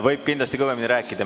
Võib kindlasti kõvemini rääkida.